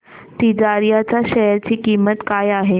तिजारिया च्या शेअर ची किंमत काय आहे